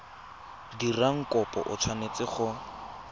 dirang kopo o tshwanetse go